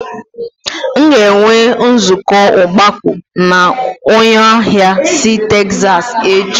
M ga-enwe nzukọ ogbako na onye ahịa si Texas echi